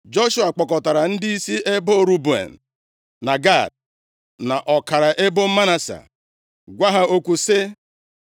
Joshua kpọkọtara ndịisi ebo Ruben, na Gad, na ọkara ebo Manase, gwa ha okwu sị,